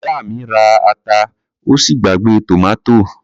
Ìyá mi ra ata ó sì gbàgbé tòmátò.